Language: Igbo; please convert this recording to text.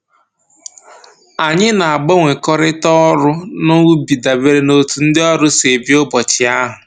Anyị na-agbanwekọrịta ọrụ n'ubi dabere n'otu ndị ọrụ si bịa ụbọchị ahụ